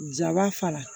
Jaba fara